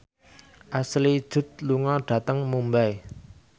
Ashley Judd lunga dhateng Mumbai